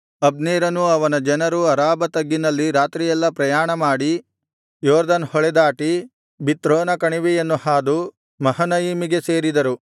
ಅಬ್ನೇರನೂ ಅವನ ಜನರೂ ಅರಾಬಾ ತಗ್ಗಿನಲ್ಲಿ ರಾತ್ರಿಯೆಲ್ಲಾ ಪ್ರಯಾಣ ಮಾಡಿ ಯೊರ್ದನ್ ಹೊಳೆದಾಟಿ ಬಿಥ್ರೋನ ಕಣಿವೆಯನ್ನು ಹಾದು ಮಹನಯಿಮಿಗೆ ಸೇರಿದರು